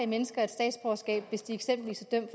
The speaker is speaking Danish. mennesker et statsborgerskab hvis de eksempelvis er